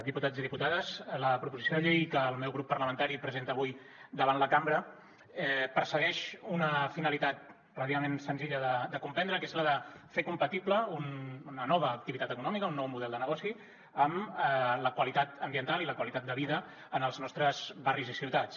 diputats i diputades la proposició de llei que el meu grup parlamentari presenta avui davant la cambra persegueix una finalitat relativament senzilla de comprendre que és la de fer compatible una nova activitat econòmica un nou model de negoci amb la qualitat ambiental i la qualitat de vida en els nostres barris i ciutats